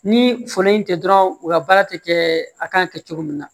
Ni foro in tɛ dɔrɔn u ka baara tɛ kɛ a kan kɛ cogo min na